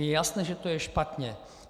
Je jasné, že to je špatně.